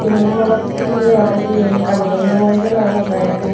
tinno morot phutut udibatte jeyon gadodonnoi sei loge loge.